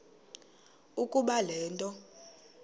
ukuba le nto